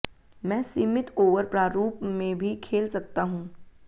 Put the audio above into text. मैं सीमित ओवर प्रारूप में भी खेल सकता हूं